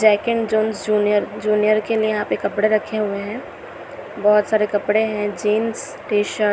Jack and Jones junior junior के लिए यहाँ पे कपड़े रखे हुए हैं। बहोत सारे कपड़े हैं। Jeans T shirt --